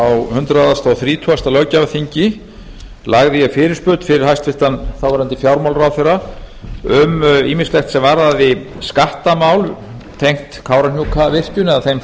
hundrað þrítugasta löggjafarþingi lagði ég fyrirspurn fyrir hæstvirtur þáverandi fjármálaráðherra um ýmislegt sem varðaði skattamál tengd kárahnjúkavirkjun eða þeim